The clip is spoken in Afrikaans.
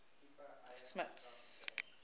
smuts